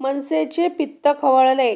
मनसेचे पित्त खवळते